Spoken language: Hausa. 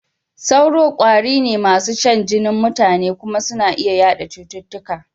Sauro ƙwari ne masu shan jinin mutane kuma suna iya yaɗa cututtuka.